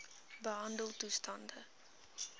behandeltoestande